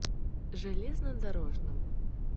железнодорожным